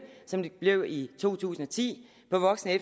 som der blev i to tusind og ti på voksen og